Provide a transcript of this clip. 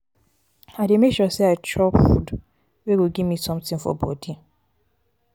i dey make sure sey i i chop food wey go give me sometin for bodi.